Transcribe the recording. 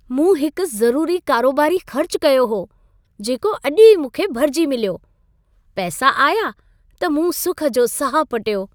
मूं हिकु ज़रूरी कारोबारी ख़र्चु कयो हो, जेको अॼु ई मूंखे भरिजी मिलियो। पैसा आया, त मूं सुख जो साह पटियो।